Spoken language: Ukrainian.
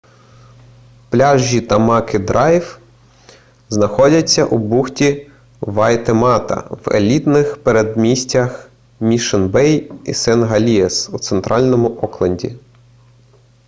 пляжі тамакі драйв знаходяться у бухті вайтемата в елітних передмістях мішн-бей і сен-гелієз у центральному окленді